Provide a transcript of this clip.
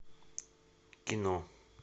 кино